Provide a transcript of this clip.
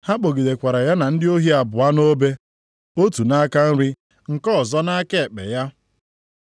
Ha kpọgidekwara ya na ndị ohi abụọ nʼobe, otu nʼaka nri ya, nke ọzọ nʼaka ekpe ya.